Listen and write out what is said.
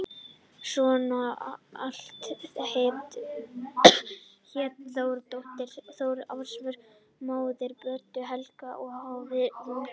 Sonur Atla hét Þórir, dóttir Þóris Ásvör, móðir Brodd-Helga á Hofi í Vopnafirði.